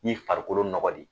Ni farikolo nɔgɔ de ye.